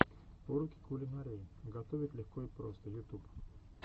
уроки кулинарии готовить легко и просто ютуб